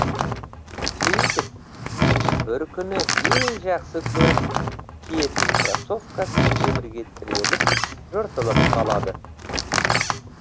сөйтіп бір күні ең жақсы көріп киетін кроссовкасы темірге тіреліп жыртылып қалады